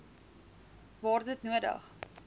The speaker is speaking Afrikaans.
waar dit nodig